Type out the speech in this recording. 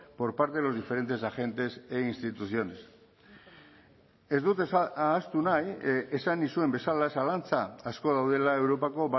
por parte de los diferentes agentes e instituciones ez dut ahaztu nahi esan nizuen bezala zalantza asko daudela europako